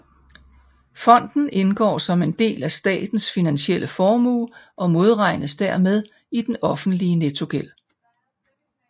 Fonden indgår som en del af statens finansielle formue og modregnes dermed i den offentlige nettogæld